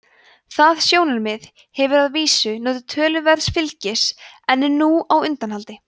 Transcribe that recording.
það sjónarmið hefur að vísu notið töluverðs fylgis en er nú á undanhaldi